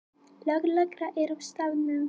Lögregla er á staðnum